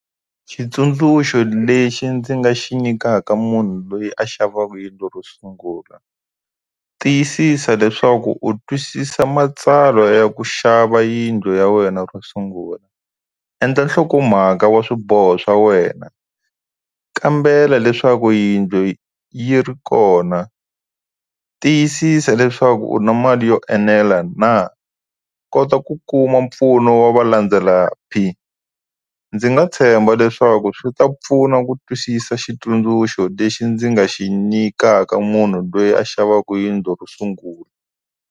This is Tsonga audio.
Xitsundzuxo lexi ndzi nga xi nyikaka munhu loyi a xavaka yindlu ro sungula tiyisisa leswaku u twisisa matsalwa ya ku xava yindlu ya wena ro sungula endla nhlokomhaka wa swiboho swa wena kambela leswaku yindlu yi ri kona tiyisisa leswaku u na mali yo enela na kota ku ku kuma mpfuno wa va landzela ndzi nga tshemba leswaku swi ta pfuna ku twisisa xitsundzuxo lexi ndzi nga xi nyikaka munhu loyi a xavaka yindlu ro sungula.